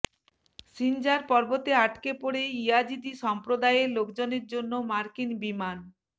সিনজার পর্বতে আটকেপড়ে ইয়াজিদি সম্প্রদায়ের লোকজনের জন্য মার্কিন বিমান